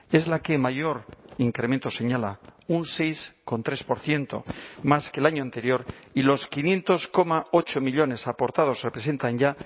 es la que mayor incremento señala un seis coma tres por ciento más que el año anterior y los quinientos coma ocho millónes aportados representan ya